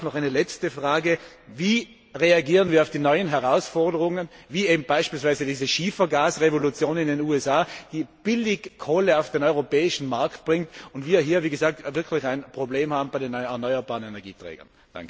Noch eine letzte Frage Wie reagieren wir auf die neuen Herausforderungen wie beispielsweise diese Schiefergasrevolution in den USA, die billig Kohle auf den europäischen Markt bringt, während wir hier wirklich ein Problem haben bei den erneuerbaren Energieträgern?